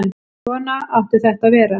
Svona átti þetta að vera.